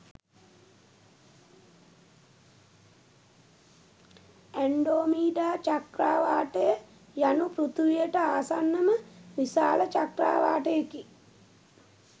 Andromeda චක්‍රාවාටය යනු පෘථිවියට ආසන්නම විශාල චක්‍රාවාටයකි.